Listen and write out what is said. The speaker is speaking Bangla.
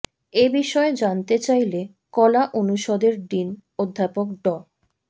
এ বিষয়ে জানতে চাইলে কলা অনুষদের ডিন অধ্যাপক ড